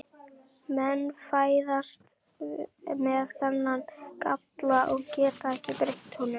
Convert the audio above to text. Menn fæðast með þennan galla og geta ekki breytt honum.